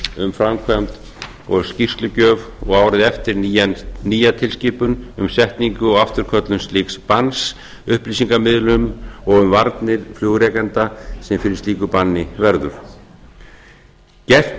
um framkvæmd og skýrslugjöf og árið eftir nýja tilskipun um setningu og afturköllun slíks banns upplýsingamiðlun og um varnir flugrekenda sem fyrir slíku banni verður gert